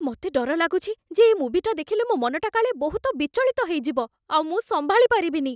ମତେ ଡର ଲାଗୁଛି ଯେ ଏ ମୁଭିଟା ଦେଖିଲେ ମୋ' ମନଟା କାଳେ ବହୁତ ବିଚଳିତ ହେଇଯିବ, ଆଉ ମୁଁ ସମ୍ଭାଳି ପାରିବିନି ।